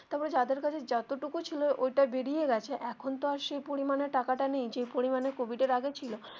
তারপর যাদের কাছে যত টুকু ছিল ঐটা বেরিয়ে গেছে এখন তো আর সেই পরিমানে টাকাটা নেই যেই পরিমানে কোভিড এর আগে ছিল.